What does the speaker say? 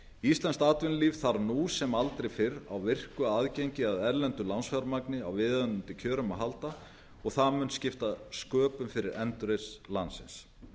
íslenskt atvinnulíf þarf nú sem aldrei fyrr á virku aðgengi að erlendu lánsfjármagni á viðunandi kjörum að halda og það mun skipta sköpum fyrir endurreisn landsins